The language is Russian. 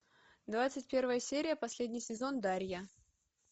двадцать первая серия последний сезон дарья